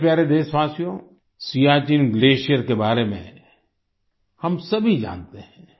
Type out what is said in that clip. मेरे प्यारे देशवासियो सियाचिन ग्लेशियर के बारे में हम सभी जानते हैं